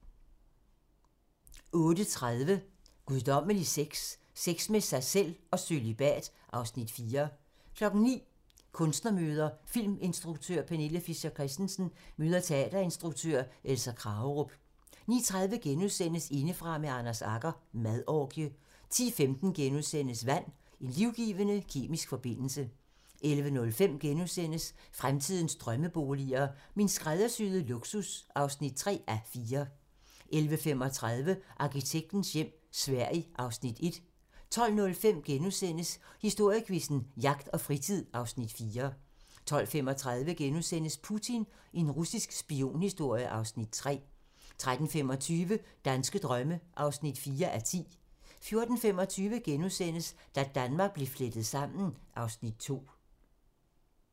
08:30: Guddommelig Sex - Sex med sig selv og Cølibat (Afs. 4) 09:00: Kunstnermøder: Filminstruktør Pernille Fischer Christensen møder teaterinstruktør Elisa Kragerup 09:30: Indefra med Anders Agger - Madorgie * 10:15: Vand - En livgivende kemisk forbindelse * 11:05: Fremtidens drømmeboliger: Min skræddersyede luksus (3:4)* 11:35: Arkitektens hjem - Sverige (Afs. 1) 12:05: Historiequizzen: Jagt og fritid (Afs. 4)* 12:35: Putin - en russisk spionhistorie (Afs. 3)* 13:25: Danske drømme (4:10) 14:25: Da Danmark blev flettet sammen (Afs. 2)*